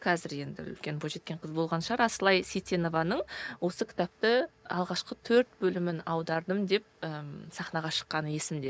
қазір енді үлкен бойжеткен қыз болған шығар асылай сейтенованың осы кітапты алғашқы төрт бөлімін аудардым деп і сахнаға шыққаны есімде